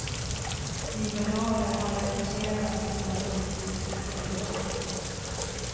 Liberaler har reducerats till en politisk spillra.